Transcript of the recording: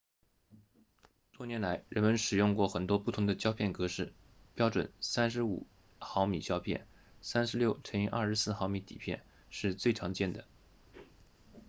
多年来人们使用过很多不同的胶片格式标准 35mm 胶片 36x24mm 底片是最常见的